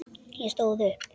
Ég stóð upp.